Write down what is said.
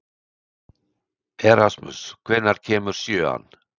Erasmus, hvenær kemur sjöan?